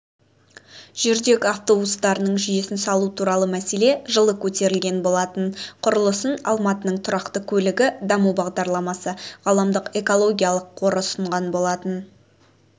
жүрдек автобустардың жүйесін салу туралы мәселе жылы көтерілген болатын құрылысын алматының тұрақты көлігі даму бағдарламасы ғаламдық экологиялық қоры ұсынған болатын